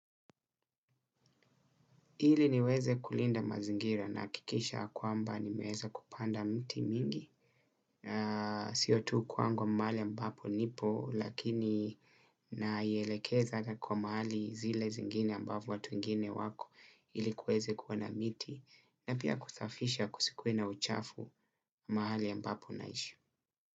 Ili niweze kulinda mazingira nahikikisha ya kwamba nimeeza kupanda mti mingi. Sio tu kwangu ama mahali ambapo nipo lakini naielekeza na kwa mahali zile zingine ambapo watu wengine wako ili kuweze kuwa na miti na pia kusafisha kusikuwe na uchafu mahali ambapo naishi.